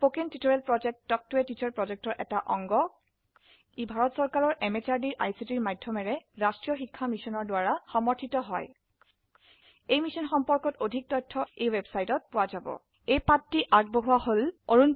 কথন শিক্ষণ প্ৰকল্প তাল্ক ত a টিচাৰ প্ৰকল্পৰ এটা অংগ ই ভাৰত চৰকাৰৰ MHRDৰ ICTৰ মাধয়মেৰে ৰাস্ত্ৰীয় শিক্ষা মিছনৰ দ্ৱাৰা সমৰ্থিত হয় এই মিশ্যন সম্পৰ্কত অধিক তথ্য spoken hyphen tutorial dot org slash এনএমইআইচিত হাইফেন ইন্ট্ৰ ৱেবচাইটত পোৱা যাব